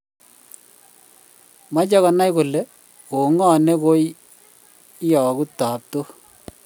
Mache konai kole ko ng'o ne koyagu taptok